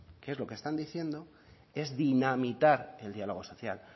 que es lo que están diciendo es dinamitar el diálogo social